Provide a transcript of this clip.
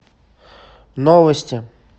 новости